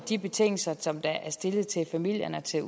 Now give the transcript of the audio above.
de betingelser som der stilles til familierne til